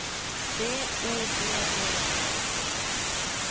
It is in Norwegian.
B O D D E